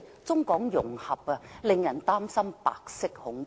中港融合，令人擔心白色恐怖。